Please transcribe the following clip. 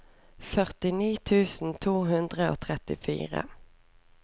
førtini tusen to hundre og trettifire